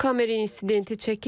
Kamera insidenti çəkib.